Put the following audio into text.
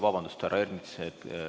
Vabandust, härra Ernits!